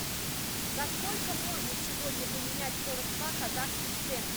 за сколько можно сегодня поменять сорок два казахских тенге